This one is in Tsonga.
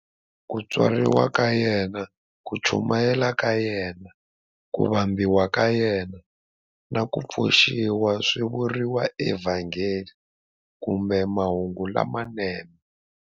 Ku tswariwa ka yena, ku chumayela ka yena, ku vambiwa ka yena, na ku pfuxiwa swi vuriwa eVhangeli kumbe"Mahungu lamanene".